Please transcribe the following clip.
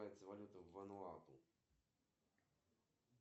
салют пятьсот рублей в долларах это сколько